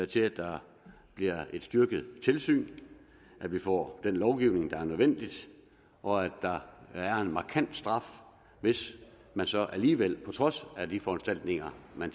til at der bliver et styrket tilsyn at vi får den lovgivning der er nødvendig og at der er en markant straf hvis man så alligevel på trods af de foranstaltninger